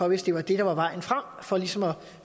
hvis det var det der var vejen frem for ligesom at